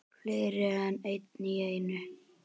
Fleiri en einn í einu?